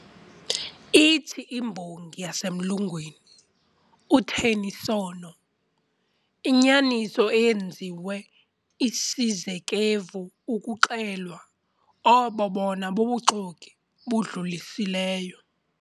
Ithi imbongi yasemlungwini, uTennysono, "Inyaniso eyenziwe isizekevu ukuxelwa, obo bobona buxoki budlulisileyo."